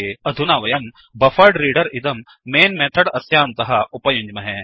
अधुना वयं buffered reader buffered reader इदं mainमेन् मेथड् अस्यान्तः उपयुञ्ज्महे